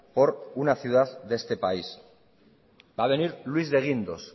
por una ciudad de este país va a venir luis de guindos